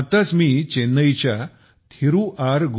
आताच मी चेन्नईच्या थिरु आर